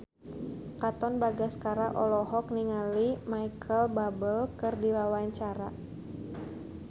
Katon Bagaskara olohok ningali Micheal Bubble keur diwawancara